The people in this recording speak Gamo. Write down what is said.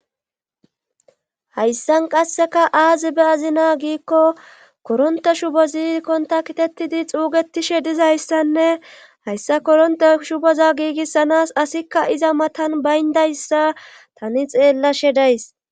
Hayssan qasseka aazi be azina giikko koronte shubo ziikkonta kitettidi xuugetishe dizayssanne hayssa koronte shuboza giigissanas asikka iza matan bayndayssa tani xeellashe days.